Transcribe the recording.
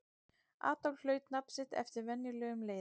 Adolf hlaut nafn sitt eftir venjulegum leiðum.